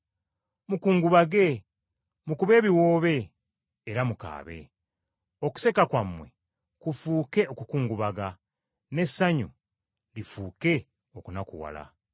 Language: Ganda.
Mukungubage, mukube ebiwoobe era mukaabe. Okuseka kwammwe kufuuke okukungubaga, n’essanyu lifuuke okunakuwala.